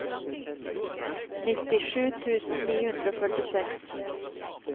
nittisju tusen ni hundre og førtiseks